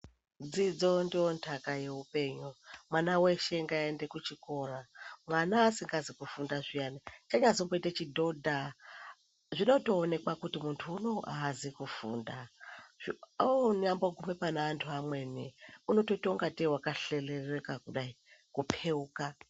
Dzidzo ndontaka yeupenyu mwana weshe ngaaend ekuchikora Mwana asikazi kufunda zviyani chanyazomboite chidhodha zvinotoonekwa kuti muntu unoyu haazi kufunda Zvekuonyambogume pane antu amweni unotoite ingatei wakahlereleka Kudai kupeuka.